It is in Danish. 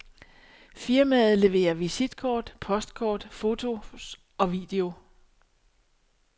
Firmaet leverer visitkort, postkort, fotos og video.